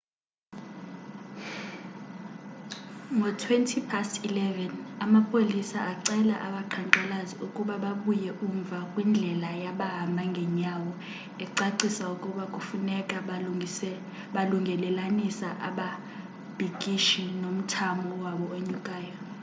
ngo-11:20,amapolisa acela abaqhankqalazi ukuba babuye umva kwindlela yabahamba ngenyawo ecacisa ukuba kufuneka balungelelanisa ababhikishi nomthamo wabo onyukayo